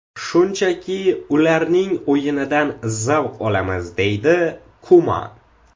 Shunchaki ularning o‘yinidan zavq olamiz”, deydi Kuman.